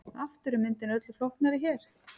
Aftur er myndin öllu flóknari hér.